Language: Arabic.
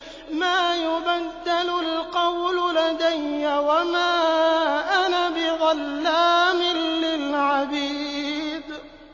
مَا يُبَدَّلُ الْقَوْلُ لَدَيَّ وَمَا أَنَا بِظَلَّامٍ لِّلْعَبِيدِ